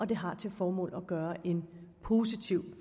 det har til formål at gøre en positiv